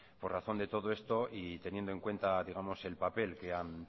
por razón de todo esto y teniendo en cuenta digamos el papel que han